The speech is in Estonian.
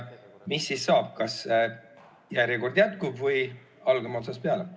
Mis siis saab, kas järjekord jätkub või algame otsast peale?